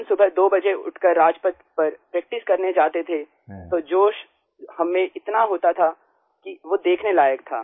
हम सुबह 2 बजे उठ कर राजपथ पर प्रैक्टिस करने जाते थे तो जोश हम में इतना होता था कि वो देखने लायक था